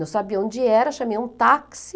Não sabia onde era, chamei um táxi.